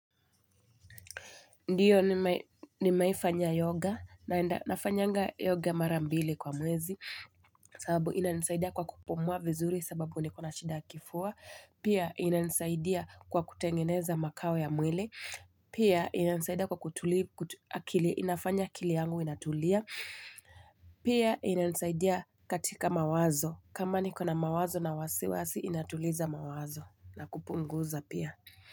Ndio nimewahi fanya yoga na nafanyanga yoga mara mbili kwa mwezi sababu inanisaidia kwa kupumua vizuri sababu nikona shida ya kifua Pia inanisaidia kwa kutengeneza makawe ya mwili Pia inanisaidia kwa kutuli akili inafanya akili yangu inatulia Pia inanisaidia katika mawazo kama nikona mawazo na wasiwasi inatuliza mawazo na kupunguza pia.